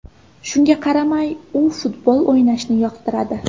Shunga qaramay, u futbol o‘ynashni yoqtiradi.